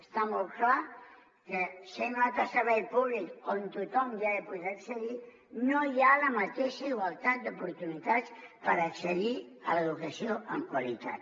està molt clar que sent un altre servei públic on tothom ha de poder accedir no hi ha la mateixa igualtat d’oportunitats per accedir a l’educació amb qualitat